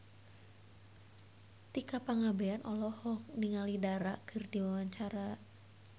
Tika Pangabean olohok ningali Dara keur diwawancara